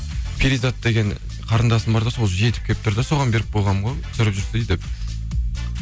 перизат деген қарындасым бар да сол жетіп келіп тұр да соған беріп қойғанмын ғой түсіріп жүрсейші деп